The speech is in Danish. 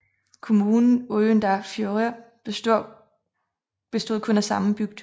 Kommunen Oyndarfjørður bestod kun af samme bygd